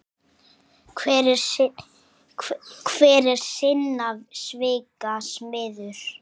Hver er sinna svika smiður.